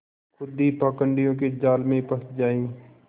खुद ही पाखंडियों के जाल में फँस जाए